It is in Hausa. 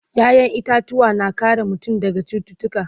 ƴaƴan itatuwa na kare mutum daga cututtuka